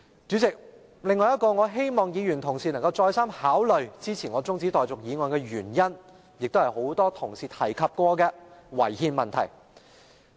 主席，我希望議員同事能再三考慮支持我的中止待續議案，另一原因亦是很多同事曾提及的違憲問題。